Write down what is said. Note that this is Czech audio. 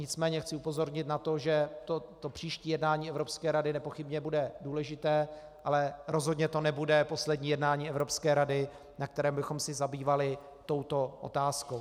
Nicméně chci upozornit na to, že to příští jednání Evropské rady nepochybně bude důležité, ale rozhodně to nebude poslední jednání Evropské rady, na kterém bychom se zabývali touto otázkou.